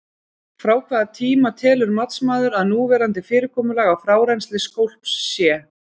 Frá hvaða tíma telur matsmaður að núverandi fyrirkomulag á frárennsli skolps sé?